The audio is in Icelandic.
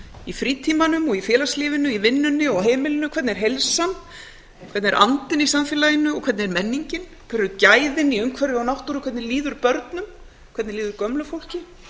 í frítímanum og í félagslífinu í vinnunni og á heimilinu hvernig er heilsan hvernig er andinn í samfélaginu og hvernig er menningin hver eru gæðin í umhverfi og náttúru hvernig líður börnum hvernig líður gömlu fólki